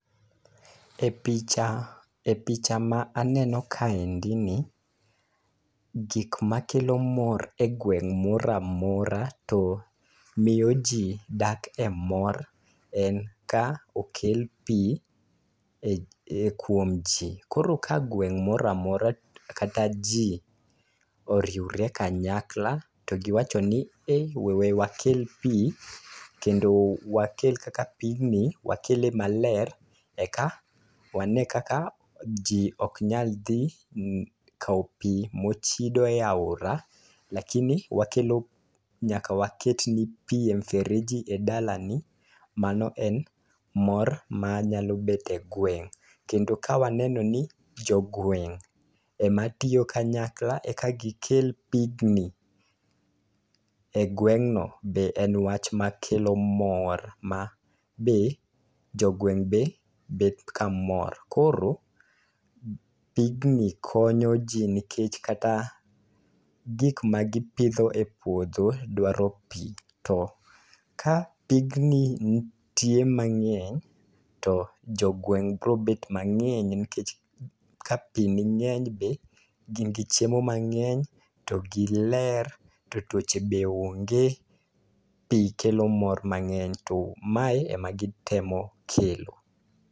E picha, e picha ma aneno kaendi ni, gik makelo mor e gweng' moramora to miyo ji dak e mor, en ka okel pii e kuom ji. Koro ka gweng' moramora kata jii oriwre kanyakla ti giwacho ni "ei we wakel pi, kendo wakel kaka pigni, wakele maler, eka wane kaka ji oknyal dhi kao pi mochido e aora. Lakini wakelo, nyaka waket ni pi e mfereji e dala ni, mano en mor manyalo bet e gweng'." Kendo ka waneno gi jo gweng' ema tiyo kanyakla e ka gikel pigni e gweng'no, be en wach makelo mor ma be jogweng' be bet ka mor. Koro pigni konyo ji nikech kata gik ma gipidho e puodho dwaro pi. To ka pigni nitie mang'eny, to jogweng' biro bet mang'eny nikech ka pi ning'eny be gin gi chiemo mang'enyo, to giler, to tuoche be onge. Pi kelo mor mang'eny, to mae e ma gitemo kelo.